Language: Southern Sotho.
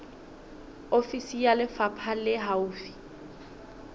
ofisi ya lefapha le haufi